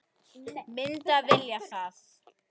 Myndum við vilja það?